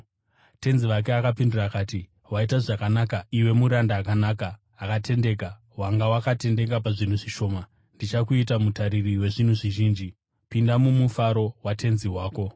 “Tenzi wake akapindura akati, ‘Waita zvakanaka iwe muranda akanaka, akatendeka! Wanga wakatendeka pazvinhu zvishoma; ndichakuita mutariri wezvinhu zvizhinji. Pinda mumufaro watenzi wako!’